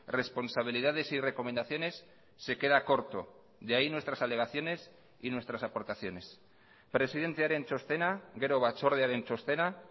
responsabilidades y recomendaciones se queda corto de ahí nuestras alegaciones y nuestras aportaciones presidentearen txostena gero batzordearen txostena